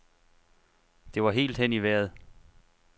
Det var helt hen i vejret.